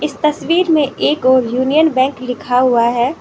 इस तस्वीर में एक ओर यूनियन बैंक लिखा हुआ है।